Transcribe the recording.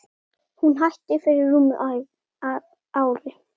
Hún hætti fyrir rúmu ári.